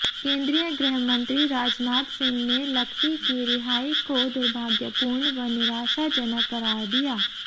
केंद्रीय गृहमंत्री राजनाथ सिंह ने लखवी की रिहाई को दुर्भाग्यपूर्ण व निराशा जनक करार दिया